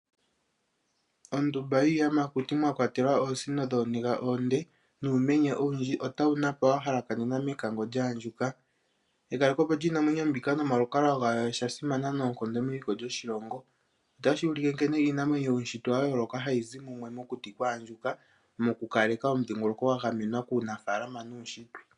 Oondumba yiiyamakuti mwa kwatelwa oosino dhooniga oonde nuumenye owundji otawu napa wa halakanena mekango lyaandjuka. Mekalekepo lyiinamwenyo mbika nomalukalwa gawo osha simana noonkondo meliko lyoshilongo. Otashi ulike nkene iinamwenyo yuutshitwe wa yooloka hayi zi mumwe mokuti kwaandjuka mokukaleka omudhingoloko gwa gamenwa kuunafaalama nuutshitwe.